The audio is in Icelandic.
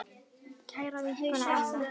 Kæra vinkona Anna.